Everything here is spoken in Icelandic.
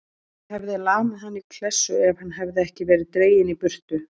Ég hefði lamið hann í klessu ef hann hefði ekki verið dreginn í burtu.